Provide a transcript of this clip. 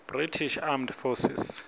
british armed forces